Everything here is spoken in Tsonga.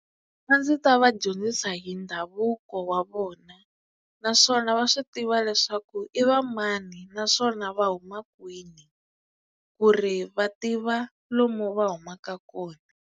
A ndzi ta va dyondzisa hi ndhavuko wa vona naswona va swi tiva leswaku i va mani naswona va huma kwini ku ri va tiva lomu va humaka kona.